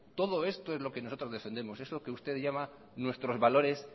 todo esto es lo que nosotros defendemos es lo que usted llama nuestros valores